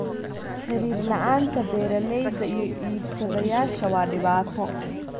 Xiriir la'aanta beeralayda iyo iibsadayaasha waa dhibaato.